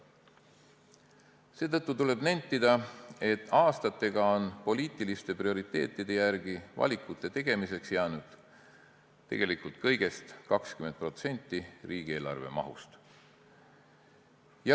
Seetõttu tuleb nentida, et aastatega on poliitiliste prioriteetide järgi valikute tegemiseks jäänud tegelikult kõigest 20% riigieelarve mahust.